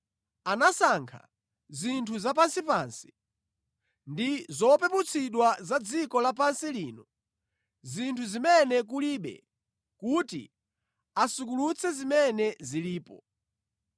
Anasankha zinthu zapansipansi ndi zopeputsidwa za dziko la pansi lino, zinthu zimene kulibe, kuti asukulutse zimene zilipo,